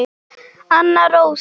Anna Rósa.